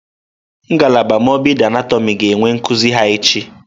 Ngalaba mọrbịdị anatọmị ga-enwe nkuzi ha echi.